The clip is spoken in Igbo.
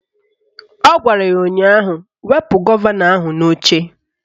Ọ gwara ya ụnyaahụ "Wepu gọvanọ ahụ n'oche"